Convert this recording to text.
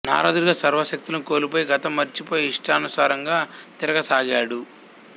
నారదుడిగా సర్వ శక్తులను కోల్పోయి గతం మరిచిపోయి ఇష్టానుసారంగా తిరగసాగాడు